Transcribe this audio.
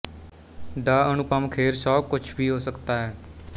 ਦ Anupam Kher show ਕੁਛ ਭੀ ਹੋ ਸਕਤਾ ਹੈ